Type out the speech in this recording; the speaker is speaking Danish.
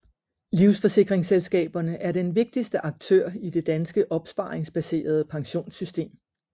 Livsforsikringsselskaberne er den vigtigste aktør i det danske opsparingsbaserede pensionssystem